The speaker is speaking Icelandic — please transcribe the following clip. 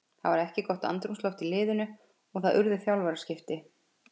Það var ekki gott andrúmsloft í liðinu og það urðu þjálfaraskipti.